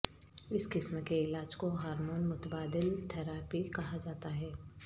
اس قسم کے علاج کو ہارمون متبادل تھراپی کہا جاتا ہے